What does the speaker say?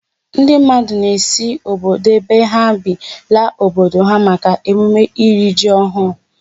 Ndị mmadụ na-esi obodo ebe ha bi laa obodo ha maka emume iri ji ọhụụ.